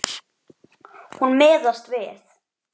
Hún miðast við.